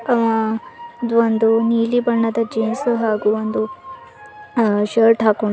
ಅಅ ಇದು ಒಂದು ನೀಲಿ ಬಣ್ಣದ ಜೀನ್ಸ್ ಹಾಗು ಒಂದು ಅ ಶರ್ಟ್ ಹಾಕೊಂಡ್--